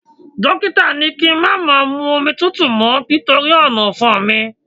Dókítà ni kí n má máa mu omi tútù mọ́ nítorí ọ̀nàfun mi